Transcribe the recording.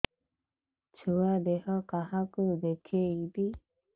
ଛୁଆ ଦେହ କାହାକୁ ଦେଖେଇବି